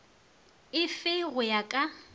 e fe go ya ka